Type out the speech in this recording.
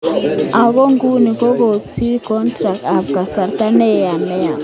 Ako nguni kokosir kontract ab kasarta neo nea.